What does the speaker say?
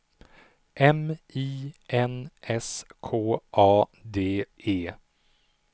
M I N S K A D E